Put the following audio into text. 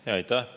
Aitäh!